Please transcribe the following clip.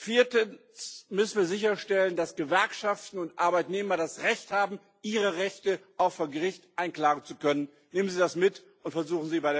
Viertens müssen wir sicherstellen, dass Gewerkschaften und Arbeitnehmer das Recht haben, ihre Rechte auch vor Gericht einklagen zu können. Nehmen Sie das mit, und versuchen Sie, das bei